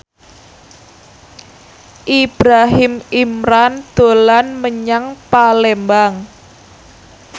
Ibrahim Imran dolan menyang Palembang